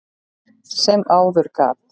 sem áður gat.